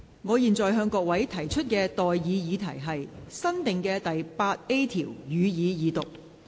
我現在向各位提出的待議議題是：新訂的第 8A 條，予以二讀。